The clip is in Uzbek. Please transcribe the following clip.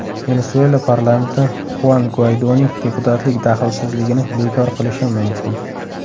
Venesuela parlamenti Xuan Guaydoning deputatlik daxlsizligini bekor qilishi mumkin.